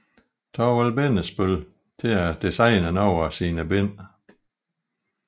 Thorvald Bindesbøll til at designe nogle af sine bind